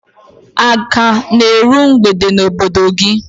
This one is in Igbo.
A ka na eru mgbede n'obodo gị?